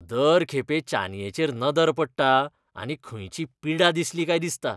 दर खेपे चानयेचेर नदर पडटा, आनी खंयची पिडा दिसली काय दिसता.